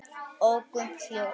Og Gump hljóp!